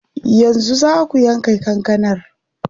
Yanzu zaa ku yanka kankanar?